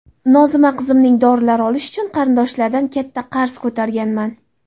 Nozima qizimning dorilarini olish uchun qarindoshlardan katta qarz ko‘targanman.